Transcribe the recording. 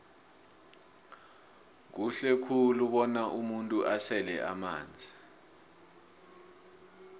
kuhle khulu bona umuntu asele amanzi